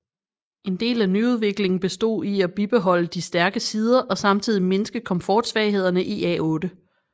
En del af nyudviklingen bestod i at bibeholde de stærke sider og samtidig mindske komfortsvaghederne i A8